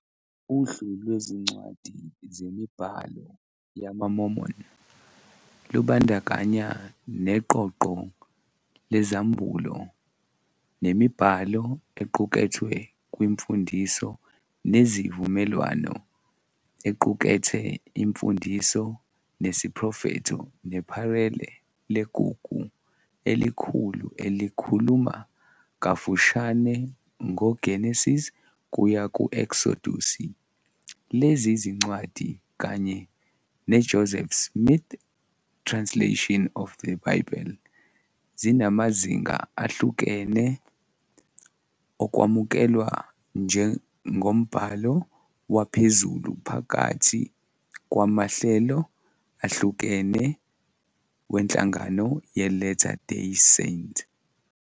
Uhlu lwezincwadi zemibhalo yamaMormon lubandakanya neqoqo lezambulo nemibhalo equkethwe kwiMfundiso neziVumelwano equkethe imfundiso nesiprofetho neParele leGugu Elikhulu elikhuluma kafushane ngoGenesise kuya kuEksodusi. Lezi zincwadi, kanye neJoseph Smith Translation of the Bible, zinamazinga ahlukene okwamukelwa njengombhalo waphezulu phakathi kwamahlelo ehlukene wenhlangano yeLatter Day Saint.